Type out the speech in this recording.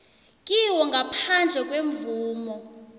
kiwo ngaphandle kwemvumo